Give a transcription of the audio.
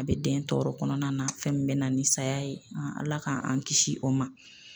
A bɛ den tɔɔrɔ kɔnɔna na fɛn min bɛna ni saya ye Ala k'an an kisi o ma